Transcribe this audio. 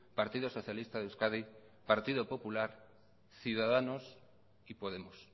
partido socialista de euskadi partido popular ciudadanos y podemos